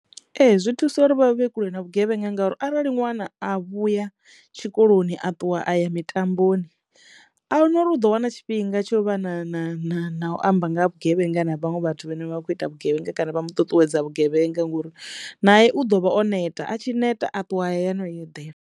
Ee zwi thusa uri vha vhe kule na vhugevhenga ngauri arali ṅwana a vhuya tshikoloni a ṱuwa a ya mitamboni ahuna uri u ḓo wana tshifhinga tsho u vha na na na na u amba nga ha vhugevhenga na vhaṅwe vhathu vhane vha vha kho ita vhugevhenga kana vha mu ṱuṱuwedza vhugevhenga ngori naye u ḓo vha o neta a tshi neta a ṱuwa a ya hayani u yo eḓela.